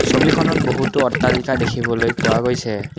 ছবিখনত বহুতো অট্টালিকা দেখিবলৈ পোৱা গৈছে।